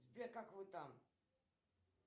сбер как вы там